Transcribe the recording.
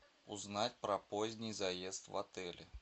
узнать про поздний заезд в отеле